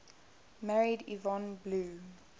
married yvonne blue